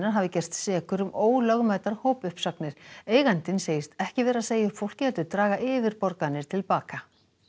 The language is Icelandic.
hafi gerst sekur um ólögmætar hópuppsagnir eigandinn segist ekki vera að segja fólki upp heldur draga yfirborganir til baka